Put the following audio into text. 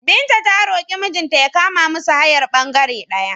Binta ta roƙi mijinta ya kama musu hayar ɓangere ɗaya.